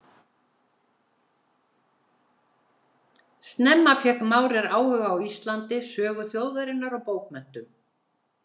Snemma fékk Maurer áhuga á Íslandi, sögu þjóðarinnar og bókmenntum.